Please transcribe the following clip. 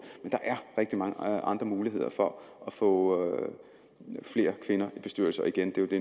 men mange andre muligheder for at få flere kvinder i bestyrelser og igen er det